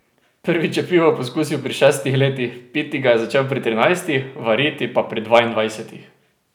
Prvič je pivo pokusil pri šestih letih, piti ga je začel pri trinajstih, variti pa pri dvaindvajsetih.